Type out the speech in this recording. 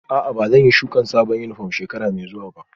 A'a, ba zan yi shuka sabon yunifwom shekara mai zuwa ba